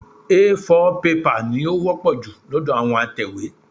A4 pẹ́pà ni ó wọ́pọ̀ jù lọ́dọ̀ àwọn atẹ̀wé.